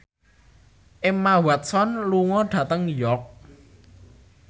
Emma Watson lunga dhateng York